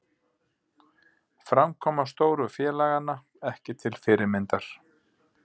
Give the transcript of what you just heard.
Framkoma stóru félaganna ekki til fyrirmyndar